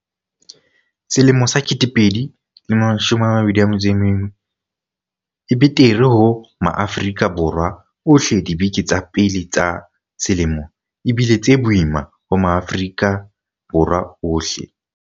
2021 e betere ho Maafrika Borwa ohleDibeke tsa pele tsa selemo e bile tse boima ho Maafri-ka Borwa ohle.